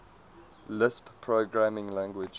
lisp programming language